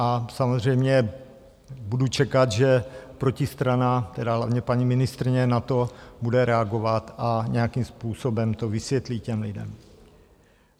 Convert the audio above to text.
A samozřejmě budu čekat, že protistrana, tedy hlavně paní ministryně, na to bude reagovat a nějakým způsobem to vysvětlí těm lidem.